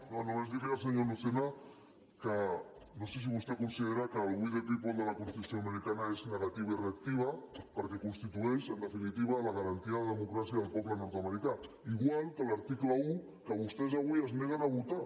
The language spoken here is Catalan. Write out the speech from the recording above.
no només dir al senyor lucena que no sé si vostè considera que el we the people de la constitució americana és negatiu i reactiu perquè constitueix en definitiva la garantia de democràcia del poble nordamericà igual que l’article un que vostès avui es neguen a votar